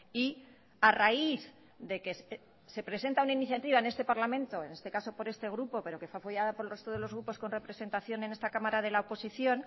y a raíz de que se presenta una iniciativa en este parlamento en este caso por este grupo pero que fue apoyada por el resto de los grupos con representación en esta cámara de la oposición